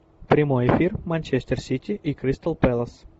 прямой эфир манчестер сити и кристал пэлас